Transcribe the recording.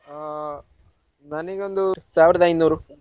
ಹಾ ನನ್ಗೆ ಒಂದು ಸಾವಿರದ ಐನೂರು.